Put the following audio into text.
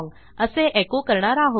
असे एको करणार आहोत